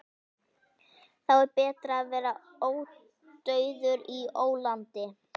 Þá er betra að vera ódauður í ólandi.